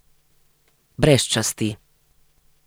Brez časti.